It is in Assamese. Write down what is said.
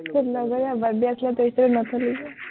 তোৰ লগৰীয়াৰ birthday আছিলে, তইতো নথলি